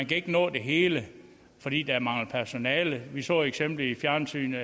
kan nå det hele fordi der mangler personale vi så et eksempel i fjernsynet